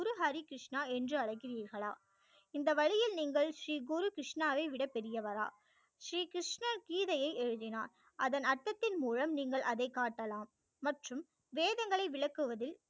குரு ஹரி கிருஷ்ணா என்று அழைக்கிறீர்களா இந்த வழியில் நீங்கள் ஸ்ரீ குரு கிருஷ்ணா வை விட பெரியவரா ஸ்ரீ கிருஷ்ணர் கீதையை எழுதினார் அதன் அர்த்தத்தின் மூலம் நீங்கள் அதை காட்டலாம் மற்றும் வேதங்களை விளக்குவதில்